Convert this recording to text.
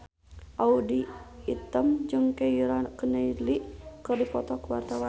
Audy Item jeung Keira Knightley keur dipoto ku wartawan